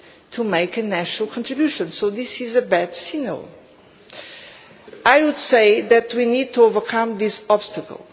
to make a national contribution, so this is a bad signal. I would say that we need to overcome this obstacle.